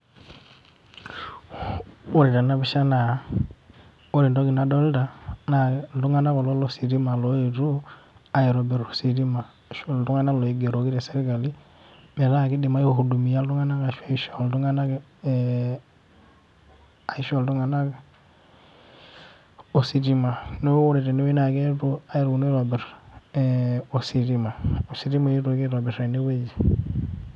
Ore tenapisha naa ore entoki nadolta, na iltung'anak kulo lositima loetuo, aitobir ositima. Ashu iltung'anak loigeroki tesirkali, metaa kidim ai hudumia iltung'anak ashu aisho iltung'anak ositima. Neeku ore tenewei na keetuo aponu aitobir ositima. Ositima eetuoki aitobir tenewueji.